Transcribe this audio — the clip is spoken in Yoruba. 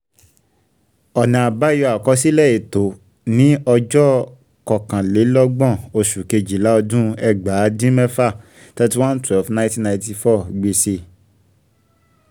ọ̀nà àbáyọ àkọsílẹ̀ ètò ní ọjọ́ kọkànlélọ́gbọ̀n oṣù kejìlá ọdún ẹgbàá dín mẹ́fà ( thirty one / twelve / nineteen ninety four ) gbèsè